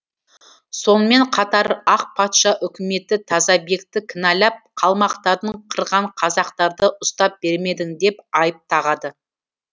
сонымен қатар ақ патша үкіметі тазабекті кінәлап қалмақтарды қырған қазақтарды ұстап бермедің деп айып тағады